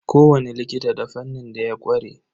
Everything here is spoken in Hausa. Ko wani likita da fannin da ya ƙware.